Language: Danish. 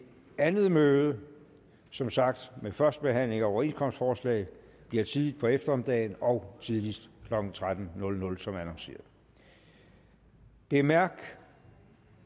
andet møde som sagt med første behandling af overenskomstforslaget bliver tidligt på eftermiddagen og tidligst klokken tretten som annonceret bemærk